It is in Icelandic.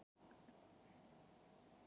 Hollustan hefst heima